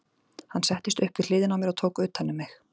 Hann settist upp við hliðina á mér og tók utan um mig.